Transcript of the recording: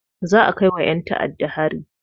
Za a kaiwa ƴen ta'adda hari.